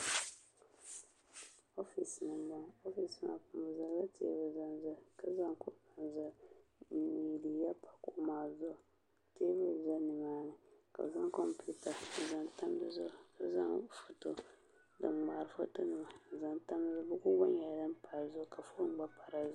oofis ni n bɔŋɔ oofis maa ni bi zaŋla teebuli zaŋ zali ka zaŋ kuɣu zali n zaŋ liiga pa kuɣu maa zuɣu teebuli ʒɛ nimaani ka bi zaŋ komputa n zaŋ tam dizuɣu ka zaŋ din ŋmaari foto nima n zaŋ tam dizuɣu buku nyɛla din pa dinni ka foon gba paya